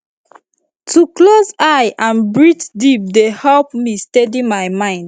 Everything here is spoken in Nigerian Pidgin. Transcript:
to close eye and breathe deep dey help me steady my mind